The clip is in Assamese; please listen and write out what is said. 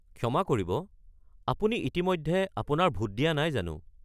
ক্ষমা কৰিব, আপুনি ইতিমধ্যে আপোনাৰ ভোট দিয়া নাই জানো?